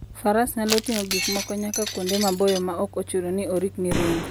Faras nyalo ting'o gik moko nyaka kuonde maboyo maok ochuno ni orikni ringo.